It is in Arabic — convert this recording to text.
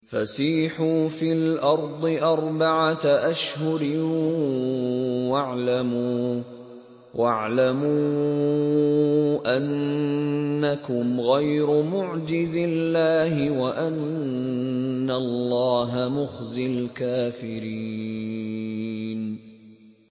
فَسِيحُوا فِي الْأَرْضِ أَرْبَعَةَ أَشْهُرٍ وَاعْلَمُوا أَنَّكُمْ غَيْرُ مُعْجِزِي اللَّهِ ۙ وَأَنَّ اللَّهَ مُخْزِي الْكَافِرِينَ